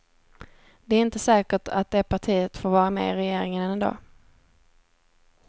Det är inte säkert att det partiet får vara med i regeringen ändå.